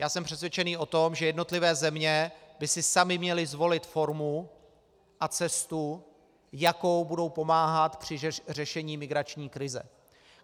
Já jsem přesvědčený o tom, že jednotlivé země by si samy měly zvolit formu a cestu, jakou budou pomáhat při řešení migrační krize.